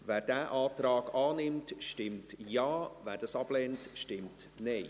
Wer diesen Antrag annimmt, stimmt Ja, wer diesen ablehnt, stimmt Nein.